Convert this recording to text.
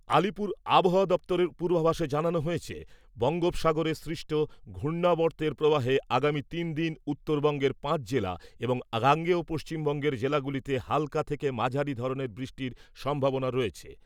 আলিপুর আবহাওয়া দফতরের পূর্বাভাসে জানানো হয়েছে , বঙ্গোপসাগরে সৃষ্ট ঘূর্ণাবর্তের প্রবাহে আগামী তিনদিন উত্তরবঙ্গের পাঁচ জেলা এবং গাঙ্গেয় পশ্চিমবঙ্গের জেলাগুলিতে হাল্কা থেকে মাঝারি ধরনের বৃষ্টির সম্ভাবনা রয়েছে ।